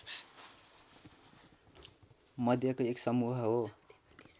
मध्येको एक समूह हो